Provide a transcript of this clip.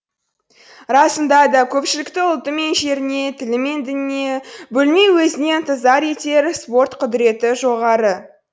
расында да көпшілікті ұлты мен жеріне тілі мен дініне бөлмей өзіне ынтызар етер спорт құдіреті жоғары